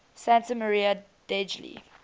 santa maria degli